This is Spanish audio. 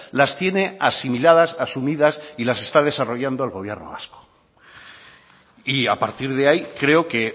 las tiene asimiladas asumidas y las está desarrollando el gobierno vasco y a partir de ahí creo que